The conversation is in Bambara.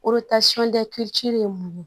ye mun ye